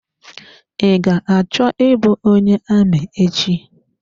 I ga-achọ I bụ onye amị echi.